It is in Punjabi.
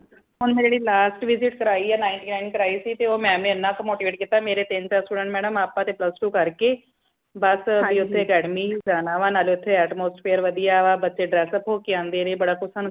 ਹੁਣ ਮੈਂ ਜੇੜੀ last visit ਕਰਾਈ ninth nine ਕਰਾਈ ਸੀ ਤੇ ਉਹ mam ਨੇ ਇਨਾ ਕਿ motivate ਕਿਤਾ ਮੇਰੇ ਤੇ ਤੀਨ ਚਾਰ student madam ਆਪਾ ਤੇ plus two ਕਰਕੇ ਬਸ academy ਹੀ ਜਾਣਾ ਵਾ ਨਾਲੇ ਓਥੇ atmosphere ਵਦੀਆ ਵਾ ਬੱਚੇ dress up ਹੋ ਕੇ।